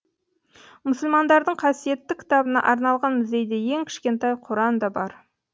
мұсылмандардың қасиетті кітабына арналған музейде ең кішкентай құран да бар